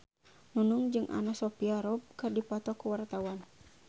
Nunung jeung Anna Sophia Robb keur dipoto ku wartawan